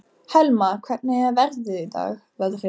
Helma, hvernig er veðrið í dag?